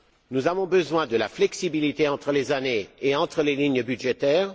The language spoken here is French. Nous avons besoin de la flexibilité entre les années et entre les lignes budgétaires.